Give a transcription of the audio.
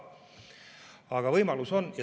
Aga võimalus on.